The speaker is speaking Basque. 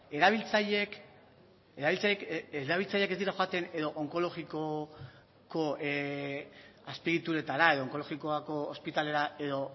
erabiltzaileak ez dira joaten edo onkologikoko azpi egituretara edo onkologikoko ospitalera edo